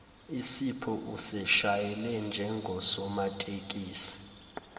usipho useshayele njengosomatekisi